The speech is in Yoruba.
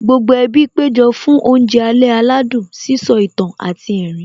Gbogbo ẹbí péjọ fún oúnjẹ alẹ́ aládùn, sísọ ìtàn àti ẹ̀rín